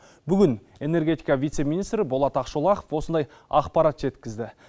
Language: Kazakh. бүгін энергетика вице министрі болат ақшолақов осындай ақпарат жеткізді